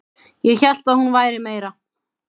Ég hélt að hún væri meira